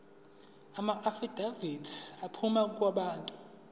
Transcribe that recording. amaafidavithi aphuma kubantu